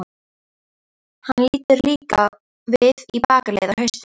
Hann lítur líka við í bakaleið, á haustin.